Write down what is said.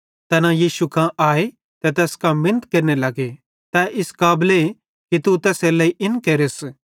तैना यीशु कां आए ते तैस कां मिनत केरने लगे तै इस काबले कि तू तैसेरेलेइ इन केरस